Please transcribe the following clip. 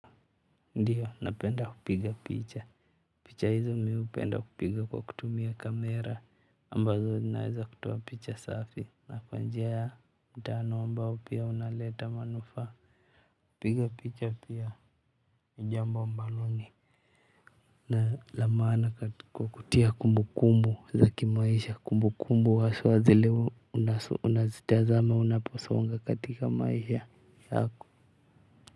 Ndiyo napenda kupiga picha picha hizi mimi hupenda kupiga kutumia camera ambazo zinaeza kutoa picha safi na kwa njia mtambo ambao unaleta manufaa kupiga picha pia ni jambo ambalo ni na la maana katika kutia kumbu kumbu za kimaisha kumbu kumbu haswa zile unazitazama unaposonga katika maisha yako.